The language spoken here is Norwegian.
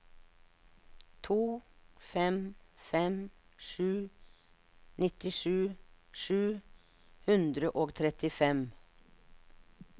to fem fem sju nittisju sju hundre og trettifem